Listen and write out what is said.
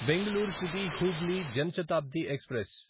Bengaluru city Hubli Jan Shatabdi express